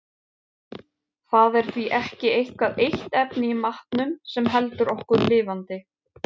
Það er því ekki eitthvað eitt efni í matnum sem heldur okkur lifandi.